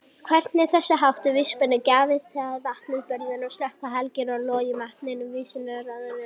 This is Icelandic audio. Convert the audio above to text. Hvernig þessháttar víxlspor gat jafngilt vatnsbunu sem slökkti helgan loga vakningarinnar var vissulega torráðinn leyndardómur.